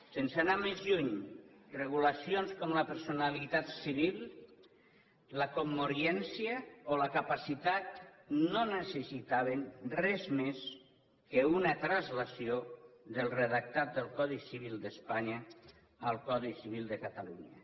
sense anar més lluny regulacions com la personalitat civil la commoriència o la capacitat no necessitaven res més que una translació del redactat del codi civil d’espanya al codi civil de catalunya